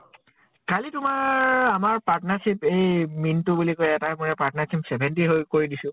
কালি তোমাৰ আমাৰ partnership এই মিন্টু বুলি কয় এটা partnership seventy হৈ কৰি দিছো।